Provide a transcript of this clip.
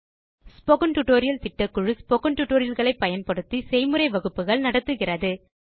spoken tutorial களை பயன்படுத்தி spoken tutorial திட்டக்குழு செய்முறை வகுப்புகள் நடத்துகிறது